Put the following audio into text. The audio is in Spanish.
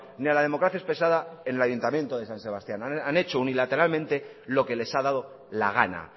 ni a la democracia expresada en el ayuntamiento de san sebastián han hecho unilateralmente lo que les ha dado la gana